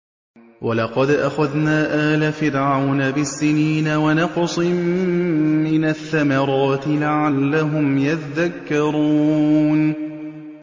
وَلَقَدْ أَخَذْنَا آلَ فِرْعَوْنَ بِالسِّنِينَ وَنَقْصٍ مِّنَ الثَّمَرَاتِ لَعَلَّهُمْ يَذَّكَّرُونَ